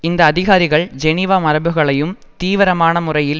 இந்த அதிகாரிகள் ஜெனிவா மரபுகளையும் தீவிரமான முறையில்